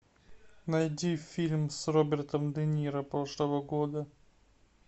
найди фильм с робертом де ниро прошлого года